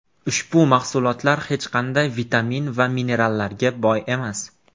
Ushbu mahsulotlar hech qanday vitamin va minerallarga boy emas.